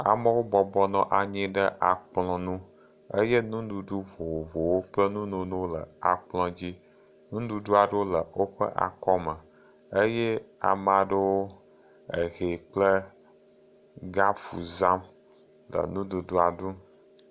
Amewo bɔbɔ nɔ anyi ɖe akplɔ ŋu eye nuɖuɖu vovovowo kple nunono wo le akpɔ dzi. Nuɖuɖu aɖewo le woƒe akɔ me. Eye ame aɖewo le ehɛ kple gapu zam le nuɖuɖua ɖum.